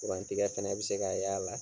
Kurantigɛ fana bɛ se kan ye a yɛrɛ la.